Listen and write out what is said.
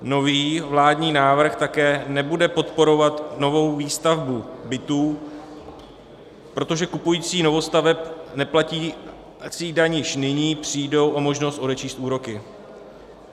Nový vládní návrh také nebude podporovat novou výstavbu bytů, protože kupující novostaveb neplatící daň již nyní přijdou o možnost odečíst úroky.